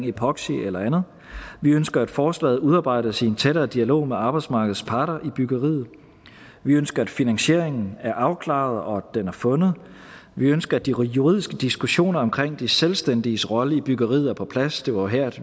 epoxy eller andet vi ønsker at forslaget udarbejdes i en tættere dialog med arbejdsmarkedets parter i byggeriet vi ønsker at finansieringen er afklaret og at den er fundet vi ønsker at de juridiske diskussioner omkring de selvstændiges roller i byggeriet er på plads det var her